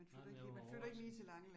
Nej, men det var hårdt